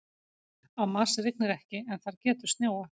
Á Mars rignir ekki en þar getur snjóað.